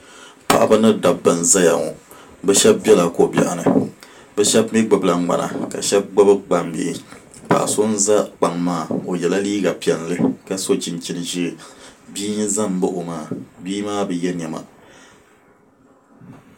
Paɣaba ni dabba n ʒɛya ŋo bi shab biɛla ko biɛɣu ni bi shab mii gbubila ŋmana ka shab gbubi gbambihi paɣa so n ʒɛ kpaŋ maa o yɛla liiga piɛlli ka so chinchin ʒiɛ bia n ʒɛ n baɣa o maa bia maa bi yɛ niɛma